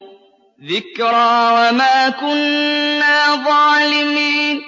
ذِكْرَىٰ وَمَا كُنَّا ظَالِمِينَ